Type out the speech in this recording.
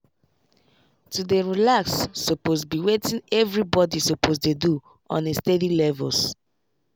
to dey relax suppose be wetin everybody suppose dey do on a steady levels